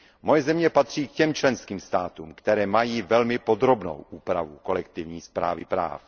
Moje země patří k těm členským státům, které mají velmi podrobnou úpravu kolektivní správy práv.